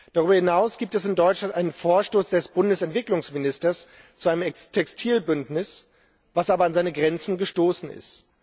Darüber hinaus gibt es in Deutschland einen Vorstoß des Bundesentwicklungsministers zu einem Textilbündnis, was aber an seine Grenzen gestoßen ist.